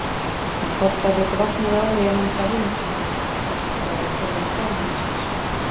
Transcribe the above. Með hvolpaviti vaknaði áhugi hans á hinu kyninu, það er að segja sjálfum sér.